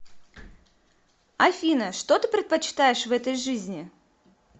афина что ты предпочитаешь в этой жизни